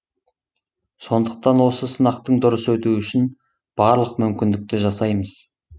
сондықтан осы сынақтың дұрыс өтуі үшін барлық мүмкіндікті жасаймыз